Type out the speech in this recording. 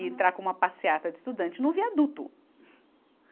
e entrar com uma passeata de estudante no viaduto.